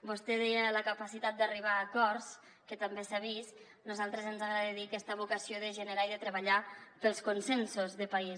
vostè deia la capacitat d’arribar a acords que també s’ha vist a nosaltres ens agrada dir aquesta vocació de generar i de treballar pels consensos de país